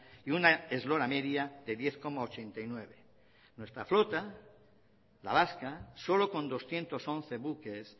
y una eslora media de diez coma ochenta y nueve nuestra flota la vasca solo con doscientos once buques